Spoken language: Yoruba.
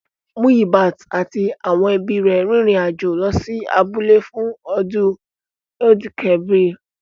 Muyibat àti àwọn ẹbí rẹ̀ rin ìrìn àjò lọ sí abúlé fún ọdún Eid-el-kabir